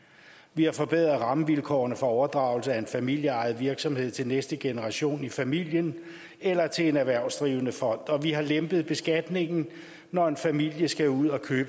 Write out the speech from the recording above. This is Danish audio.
vi har forbedret rammevilkårene for overdragelse af en familieejet virksomhed til næste generation i familien eller til en erhvervsdrivende fond og vi har lempet beskatningen når en familie skal ud og købe